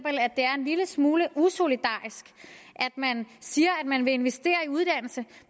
lille smule usolidarisk at man siger at man vil investere i uddannelse